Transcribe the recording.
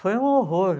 Foi um horror.